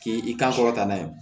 K'i kan kɔrɔta n'a ye